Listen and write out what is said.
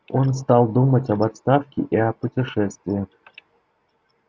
он стал думать об отставке и о путешествии